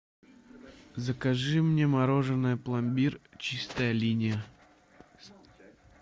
закажи мне мороженое пломбир чистая линия